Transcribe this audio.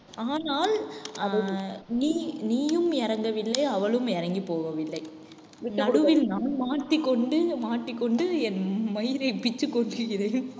ஆனால் அது நீ நீயும் இறங்கவில்லை அவளும் இறங்கி போகவில்லை. நடுவில் நான் மாட்டிக்கொண்டு மாட்டிக்கொண்டு என் மயிரை பித்துக் கொள்கிறேன்